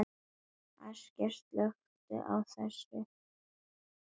Askja, slökktu á þessu eftir fimmtíu og fimm mínútur.